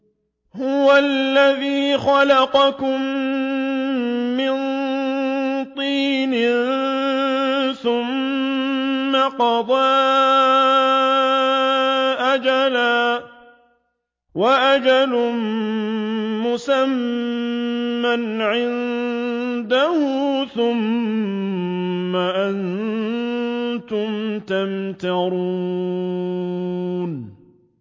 هُوَ الَّذِي خَلَقَكُم مِّن طِينٍ ثُمَّ قَضَىٰ أَجَلًا ۖ وَأَجَلٌ مُّسَمًّى عِندَهُ ۖ ثُمَّ أَنتُمْ تَمْتَرُونَ